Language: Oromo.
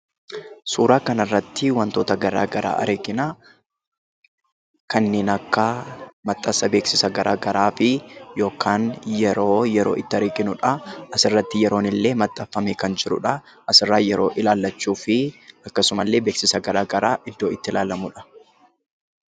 Suura kana irratti wantoota gara garaa argina. Kanneen akka maxxansa beeksisa gara garaafi yookaan yeroo yeroo itti arginudha. Asirratti yeroon illee maxxanfamee kan jirudha. As irraa yeroo ilaallachuufi akkasuma illee maxxansi gara garaa iddoo itti ilaalamudha.